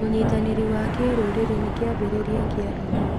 ũnyitanĩri wa kĩrũrĩrĩ nĩ kĩambĩrĩria kĩa hinya.